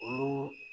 Olu